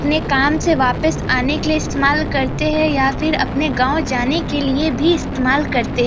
अपने काम से वापस आने के लिए भी इस्तेमाल करते है या फिर अपने गांव जाने के लिए भी इस्तेमाल करते --